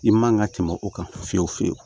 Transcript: I man ka tɛmɛ o kan fiye fiyewu